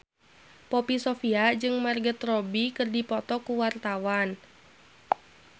Poppy Sovia jeung Margot Robbie keur dipoto ku wartawan